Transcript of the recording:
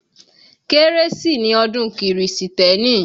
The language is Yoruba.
Kérésì ni ọdún kírísítẹ̀nì